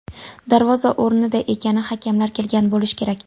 Darvoza o‘rnida ekani, hakamlar kelgan bo‘lishi kerak.